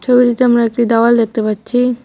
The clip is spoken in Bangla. ছবিটিতে আমরা একটি দেওয়াল দেখতে পাচ্ছি।